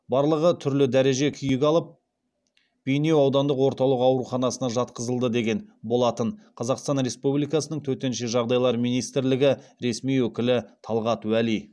барлығы түрлі дәреже күйік алып бейнеу аудандық орталық ауруханасына жатқызылды деген болатын қазақстан республикасының төтенше жағдайлар министрлігі ресми өкілі талғат уәли